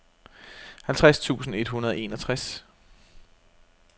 halvtreds tusind et hundrede og enogtres